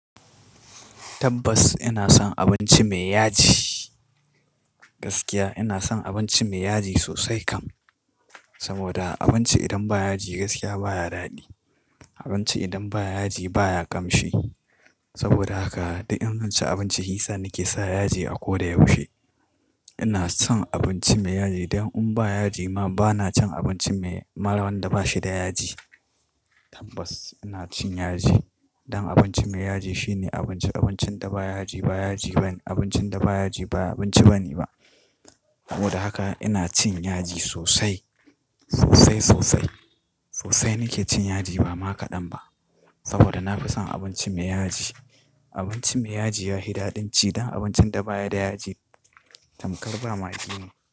Tabbas ina son abinci mai yaji. Gaskiya ina son abinci mai yaji sosai kam. Saboda abinci idan ba yaji gaskiya baya daɗi. Abinci idan ba yaji baya ƙamshi. Saboda haka duk in zanci abinci hisa nake sa yaji a ko da yaushe. Ina son abinci mai yaji, dan in ba yaji ma bana cin abinci mai, maran da bashi da yaji. Tabbas ina cin yaji. Don abinci mai yaji shine abinci, abincin da ba yaji ba yaji bane, abincin da ba yaji ba abinci bane ba. Saboda haka ina cin yaji sosai, sosai sosai. Sosai nake cin yaji ba ma kaɗan ba. Saboda na fi son abinci mai yaji. Abinci mai yaji yahi daɗin ci dan abincin da baya da yaji tamkar ba magi ne.